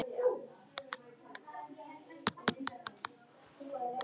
Ef. Freyju